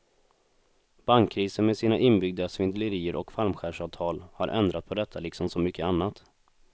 Bankkrisen med sina inbyggda svindlerier och fallskärmsavtal har ändrat på detta liksom så mycket annat.